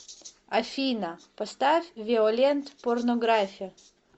афина поставь виолент порнографи